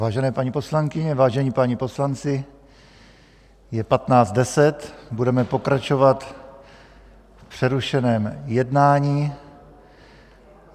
Vážené paní poslankyně, vážení páni poslanci, je 15.10, budeme pokračovat v přerušeném jednání.